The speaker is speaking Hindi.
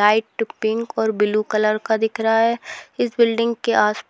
लाइट पिंक और ब्लू कलर का दिख रहा है इस बिल्डिंग